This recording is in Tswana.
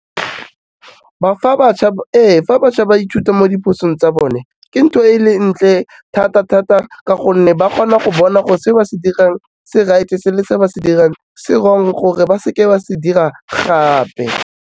Ee, fa bašwa ba ithuta mo diphosong tsa bone ke ntho e le ntle thata-thata ka gonne ba kgona go bona gore se ba se dirang se right-e le se ba se dirang se wrong gore ba seke ba se dira gape.